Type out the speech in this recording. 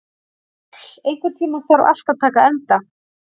Njáll, einhvern tímann þarf allt að taka enda.